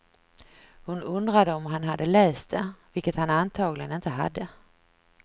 Hon undrade om han hade läst det, vilket han antagligen inte hade.